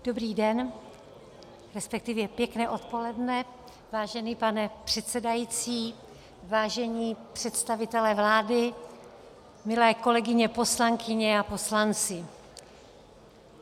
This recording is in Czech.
Dobrý den, respektive pěkné odpoledne, vážený pane předsedající, vážení představitelé vlády, milé kolegyně poslankyně a poslanci.